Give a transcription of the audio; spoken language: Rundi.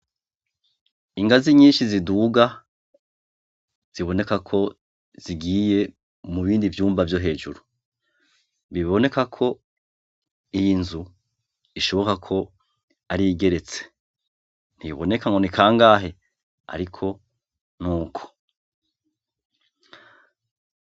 Rr rusangi ivisa akamarokanini cane hantu hakuranira abana benshi ni co gituma ku mashuri yose atandukanyi haba ku mashuri matomato y abisumbuye canke nayo abana bakiri bato bateza kuba bagiza ubw'iherero rusange haba ku bahungu canke kubakobwa ku buryo bwo kantu abahungu bagenda kugira ubwiereo rusange ni co gituma hateza kuba hariho n'amazi ashobora gufasha mu gihe abana bahijeje gukoraiwo ubw'iherero batezo kuronka amazi ashobora kumanura ivyoiyo myandabaa tishizeho bagakoresha ayo mazi kugira ngo ayimanure mu binogo vyabigenewe.